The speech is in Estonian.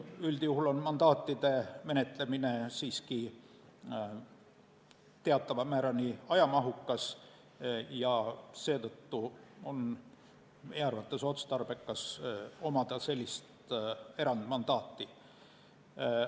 Üldjuhul on mandaatide menetlemine siiski teatava määrani ajamahukas ja seetõttu on meie arvates otstarbekas omada sellist erandmandaati.